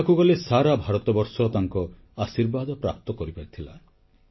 କହିବାକୁ ଗଲେ ସାରା ଭାରତବର୍ଷ ତାଙ୍କ ଆଶୀର୍ବାଦ ପ୍ରାପ୍ତ କରିପାରିଥିଲା